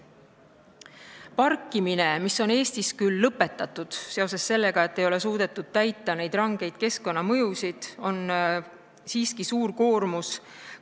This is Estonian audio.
Nahkade parkimine on Eestis küll lõpetatud, sest ei ole suudetud täita rangeid keskkonnanõudeid, parkimisel tekib ju suur koormus keskkonnale.